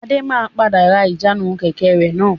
Adé máa padà ra ìjánu Kẹ̀kẹ́ rẹ náà.